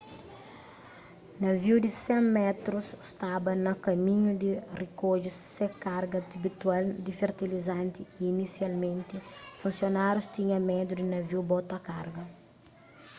naviu di 100 métrus staba na kaminhu di rikodje se karga abitual di fertilizanti y inisialmenti funsionárius tinha medu di naviu bota karga